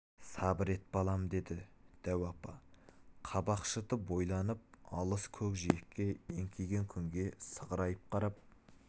сабыр ет балам деді дәу апа қабақ шытып ойланып алыс көкжиекке еңкейген күнге сығырайып қарап